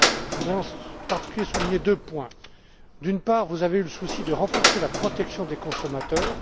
Je voudrais en particulier souligner deux points d'une part, vous avez eu le souci de renforcer la protection des consommateurs.